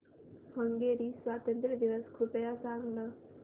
Hungary स्वातंत्र्य दिवस कृपया सांग ना